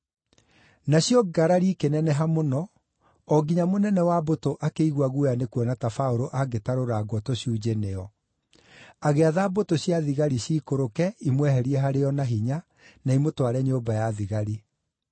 Nacio ngarari ikĩneneha mũno, o nginya mũnene wa mbũtũ akĩigua guoya nĩkuona ta Paũlũ angĩtarũrangwo tũcunjĩ nĩo. Agĩatha mbũtũ cia thigari ciikũrũke, imweherie harĩo na hinya, na imũtware nyũmba ya thigari.